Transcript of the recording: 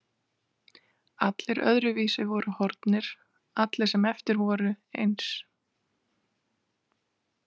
Allir öðruvísi voru horfnir, allir sem eftir voru eins.